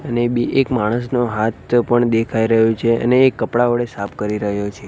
અને બે એક માણસનો હાથ પણ દેખાય રહ્યો છે અને એ કપડા ઓળે સાફ કરી રહ્યો છે.